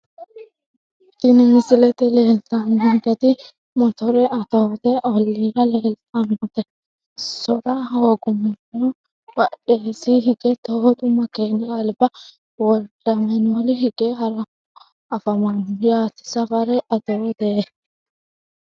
Tini misilete leltanonketi motorra atoote oliira leeltanote sora hogumorona badheseeni hige tootu makeeni alba woldeamanueeli hige haranohu afamano yaate safare atoote.